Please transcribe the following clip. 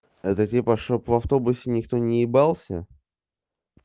это типа чтобы в автобусе никто не ебался